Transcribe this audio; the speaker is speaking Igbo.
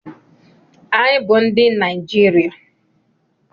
Anyị bụ ndị Naijiria.